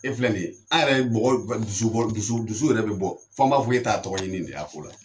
E filɛ nin ye an yɛrɛ ye dusu dusu dusu yɛrɛ bɛ bɔ fo an b'a fɔ e ta ye tɔgɔɲini nin de y'a la